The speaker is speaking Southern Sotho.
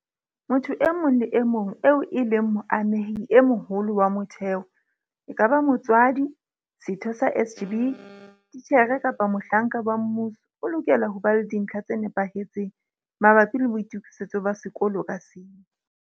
Motho e mong le e mong eo e leng moamehi e moholo wa motheo, ekaba motswadi, setho sa SGB, titjhere kapa mohlanka wa mmuso, o lokela ho ba le dintlha tse nepahetseng mabapi le boitokisetso ba sekolo ka seng.